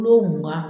Kulo mugan